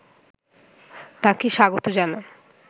তাকে স্বাগত জানান